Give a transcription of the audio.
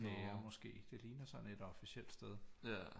Kager måske det ligner sådan et officielt sted